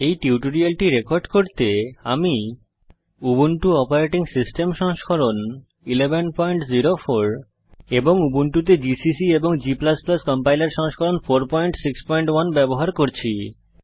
এই টিউটোরিয়ালটি রেকর্ড করতে আমি উবুন্টু অপারেটিং সিস্টেম সংস্করণ 1104 এবং উবুন্টুতে জিসিসি এবং g কম্পাইলার সংস্করণ 461 ব্যবহার করছি